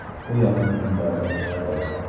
U yaqin kunlarda ochiladi .